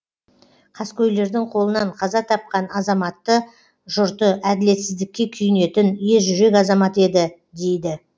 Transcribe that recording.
қаскөйлердің қолынан қаза тапқан азаматты жұрты әділетсіздікке күйінетін ержүрек азамат еді дейді